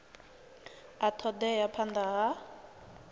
a ṱo ḓea phanḓa ha